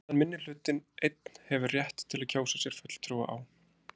En meðan minnihlutinn einn hefur rétt til að kjósa sér fulltrúa á